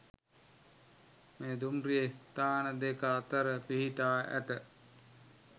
මෙම දුම්රිය ස්ථාන දෙක අතර පිහිටා ඇත